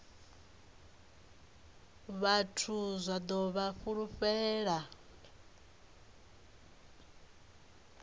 vhathu zwa ḓo vha fulufhela